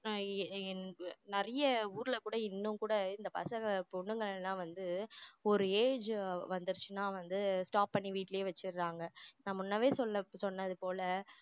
ஆஹ் என் என் நிறைய ஊர்ல கூட இன்னும் கூட இந்த பசங்க பொண்ணுங்க எல்லாம் வந்து ஒரு age வந்துருச்சுனா வந்து stop பண்ணி வீட்டிலேயே வச்சிடறாங்க நான் முன்னவே சொன்ன~ சொன்னது போல